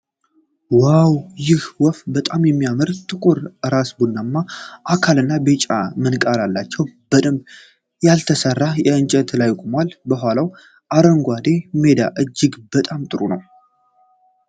ዋው! ይህ ወፍ በጣም የሚያምር ነው። ጥቁር ራስ፣ ቡናማ አካልና ቢጫ ምንቃር አላት። በደንብ ያልተሰራ እንጨት ላይ ቆማለች። የኋላዋ አረንጓዴ ሜዳ እጅግ በጣም ጥሩ ነው።